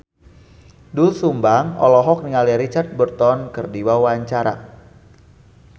Doel Sumbang olohok ningali Richard Burton keur diwawancara